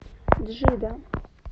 джидда